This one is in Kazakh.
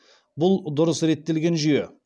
бұл дұрыс реттелген жүйе